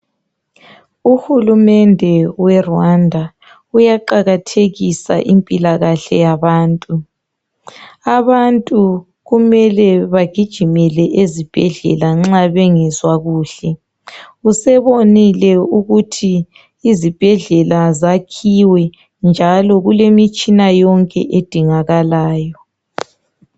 Uhulumende we Rwanda uyaqakathekisa impilakahle yabantu abantu kumele bagijimele ezibhendlela nxa bengezwa kuhle usebonile ukuthi izibhedlela zakhiwe njalo kulemitshina yonke edingakalayo